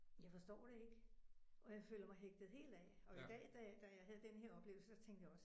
Jeg forstår det ikke. Og jeg føler mig hægtet helt af og i dag dag da jeg havde den her oplevelse der tænkte jeg også